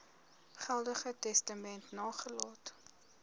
geldige testament nagelaat